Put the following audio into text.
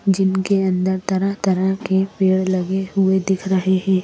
जिनके अंदर तरह-तरह के पेड़ लगे हुए दिख रहे हैं।